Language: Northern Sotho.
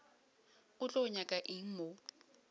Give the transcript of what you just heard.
o tlo nyaka eng mo